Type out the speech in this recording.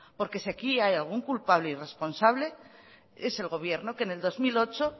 porque si aquí hay algún culpable y responsable es el gobierno que en el dos mil ocho